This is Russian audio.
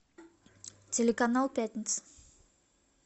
телеканал пятница